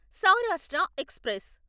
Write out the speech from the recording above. Saurashtra express